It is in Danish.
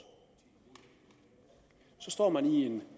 så står man i en